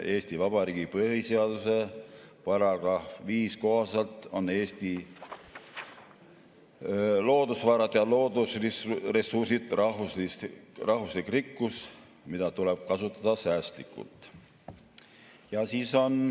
Eesti Vabariigi põhiseaduse § 5 kohaselt on Eesti loodusvarad ja loodusressursid rahvuslik rikkus, mida tuleb kasutada säästlikult.